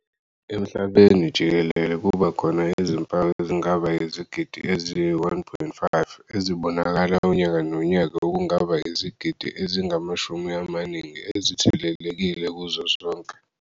Emhlabeni jikelele kuba khona izimpawu ezingaba izigidi eziyi-1.5 ezibonakala unyaka nonyaka okungaba izigidi ezingamashumi amaningi ezithelelekile kuzo zonke.